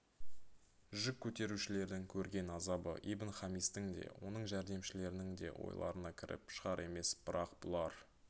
жүк көтерушілердің көрген азабы ибн-хамистің де оның жәрдемшілерінің де ойларына да кіріп шығар емес бірақ бұлар